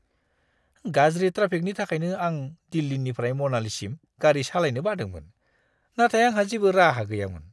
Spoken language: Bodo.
गाज्रि ट्राफिकनि थाखायनो आं दिल्लीनिफ्राय, मनालीसिम गारि सालायनो बादोंमोन, नाथाय आंहा जेबो राहा गैयामोन।